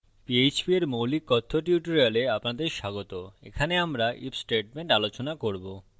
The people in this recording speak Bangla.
পীএচপী phpএর মৌলিক কথ্য tutorial আপনাদের স্বাগত এখানে আমরা if statement আলোচনা করব